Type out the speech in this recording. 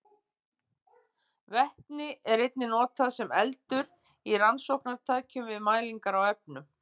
Vetni er einnig notað sem eldur í rannsóknartækjum við mælingar á efnum.